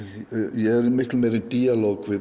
ég er í miklu meiri díalóg við